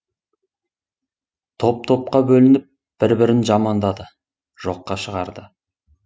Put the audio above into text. топ топқа бөлініп бір бірін жамандады жоққа шығарды